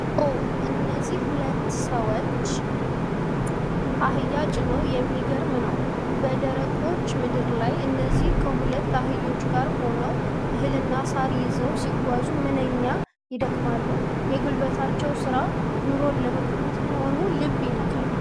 ኦ! እነዚህ ሁለት ሰዎች አህያ ጭነው የሚገርም ነው! በደረቀች ምድር ላይ፣ እነዚህ ሰዎች ከሁለት አህዮች ጋር ሆነው እህልና ሳር ይዘው ሲጓዙ ምንኛ ይደክማሉ! የጉልበታቸው ሥራ ኑሮን ለመግፋት መሆኑ ልብ ይነካል!